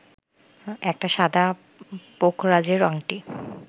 একটা সাদা পোখরাজের আংটি